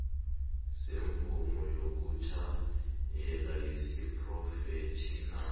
semvumo yokutjhayela yesiphrofetjhinali